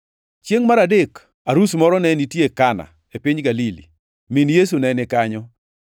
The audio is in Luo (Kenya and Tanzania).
Chiengʼ mar adek, arus moro ne nitie Kana, e piny Galili. Min Yesu ne ni kanyo,